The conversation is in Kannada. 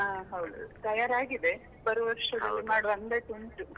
ಹಾ ಹೌದು. ತಯಾರಾಗಿದೆ ಬರುವ ವರ್ಷದಲ್ಲಿ ಮಾಡುವ ಅಂದಾಜು ಉಂಟು.